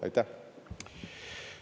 Aitäh!